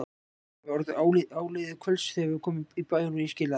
Það var orðið áliðið kvölds þegar við komum í bæinn og ég skilaði